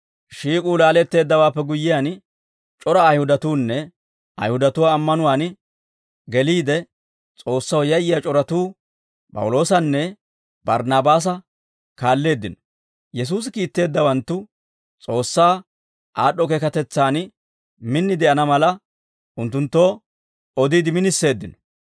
Shiik'uu laaletteeddawaappe guyyiyaan, c'ora Ayihudatuunne Ayihudatuwaa ammanuwaan geliide S'oossaw yayyiyaa c'oratuu, P'awuloosanne Barnaabaasa kaalleeddino; Yesuusi kiitteeddawanttu S'oossaa aad'd'o keekatetsaan min de'ana mala, unttunttoo odiide miniseeddino.